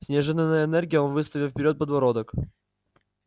с неожиданной энергией он выставил вперёд подбородок